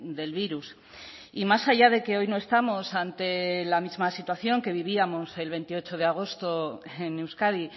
del virus y más allá de que hoy no estamos ante la misma situación que vivíamos el veintiocho de agosto en euskadi